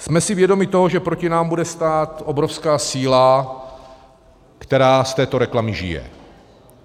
Jsme si vědomi toho, že proti nám bude stát obrovská síla, která z této reklamy žije.